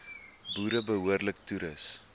boere behoorlik toerus